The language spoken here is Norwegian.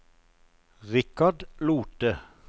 Richard Lothe